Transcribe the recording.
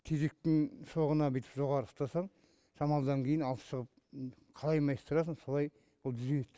тезектің шоғына бүйтіп жоғары ұстасаң шамалыдан кейін алып шығып қалай майыстырасың солай түзеледі